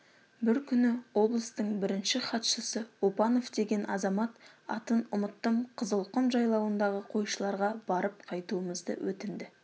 бір күні облыстың бірінші хатшысы опанов деген азамат атын ұмыттым қызылқұм жайлауындағы қойшыларға барып қайтуымызды өтінді